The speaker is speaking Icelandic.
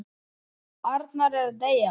Arnar er að deyja.